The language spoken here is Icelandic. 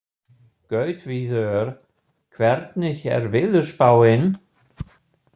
Gautviður, hvernig er veðurspáin?